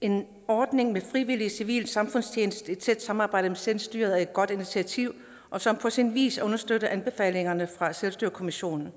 en ordning med frivillig civil samfundstjeneste i et tæt samarbejde med selvstyret er et godt initiativ som på sin vis understøtter anbefalingerne fra selvstyrekommissionen